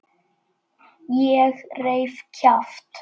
Ég reif kjaft.